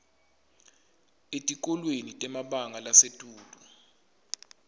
etikolweni temabanga lasetulu